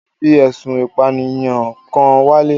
Wọ́n fi ẹ̀sùn ìpànìyàn kan wálé.